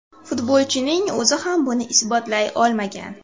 Futbolchining o‘zi ham buni isbotlay olmagan.